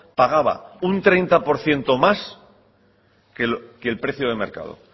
pagaba un treinta por ciento más que el precio de mercado